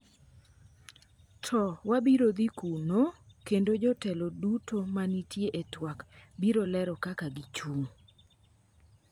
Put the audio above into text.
"To wabiro dhi kuno ... kendo jotelo duto ma nitie e twak biro lero kaka gichung'